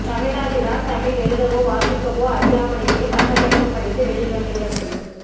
தமிழ்நாட்டில் தான் தமிழ் எழுதவோ வாசிக்கவோ அறியாமலேயே பட்டப்படிப்பு படித்து வெளியில் வந்துவிட முடியும்